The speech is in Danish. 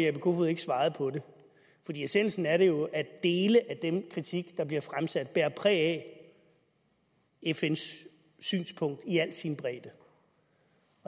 jeppe kofod ikke svarede på det for essensen af det er jo at dele af den kritik der bliver fremsat bærer præg af fns synspunkt i al sin bredde